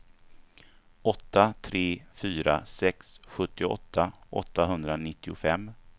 åtta tre fyra sex sjuttioåtta åttahundranittiofem